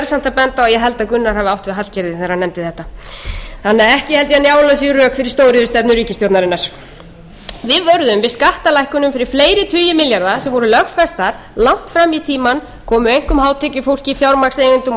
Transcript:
benda á að ég held að gunnar hafi átt við hallgerði þegar hann nefndi þetta þannig að ekki held ég að njálu sé rök fyrir stóriðjustefnu ríkisstjórnarinnar við vöruðum við skattalækkunum fyrir fleiri tugi milljarða sem voru lögfestar langt fram í tímann komu einkum hátekjufólki fjármagnseigendum og stórfyrirtækjum